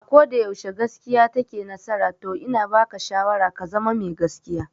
A koda yaushe gaskiya take nasara to ina baka shawara ka zama mai gaskiya